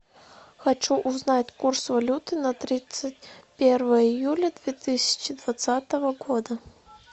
хочу узнать курс валюты на тридцать первое июля две тысячи двадцатого года